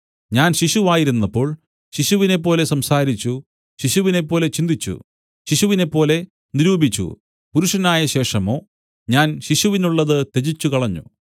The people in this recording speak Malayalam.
ഞാൻ ശിശുവായിരുന്നപ്പോൾ ശിശുവിനെപ്പോലെ സംസാരിച്ചു ശിശുവിനെപ്പോലെ ചിന്തിച്ചു ശിശുവിനെപ്പോലെ നിരൂപിച്ചു പുരുഷനായ ശേഷമോ ഞാൻ ശിശുവിനുള്ളത് ത്യജിച്ചുകളഞ്ഞു